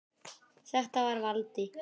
Þetta var Valdi.